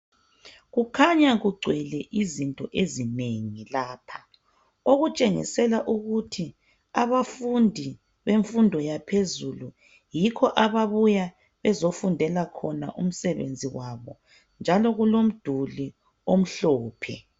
Kukhanya kugcwele izinto ezinengi lapha okutshengisela ukuthi abafundi bemfundo yaphezulu yikho ababuya bezofundela khona umsebenzi wabo njalo kulomduli omhlophe.